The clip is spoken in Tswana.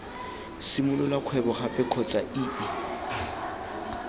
simolola kgwebo gape kgotsa ii